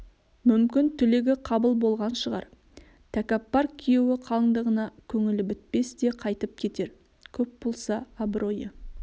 мүмкін тілегі қабыл болған шығар тәкаппар күйеу қалыңдығына көңілі бітпес те қайтьп кетер көп болса абыройы